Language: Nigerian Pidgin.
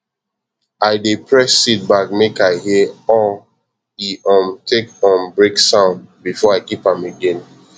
i dey press seed bag make i hear aw e um take um break sound before i keep am again